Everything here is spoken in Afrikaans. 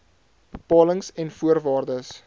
bepalings en voorwaardes